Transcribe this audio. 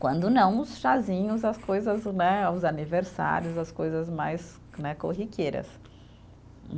Quando não, os chazinhos, as coisas, né, os aniversários, as coisas mais né, corriqueiras.